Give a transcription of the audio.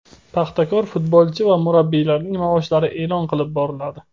"Paxtakor" futbolchi va murabbiylarining maoshlari e’lon qilib boriladi.